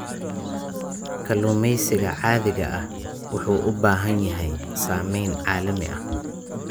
Kalluumeysiga caadiga ah wuxuu u baahan yahay saameyn caalami ah.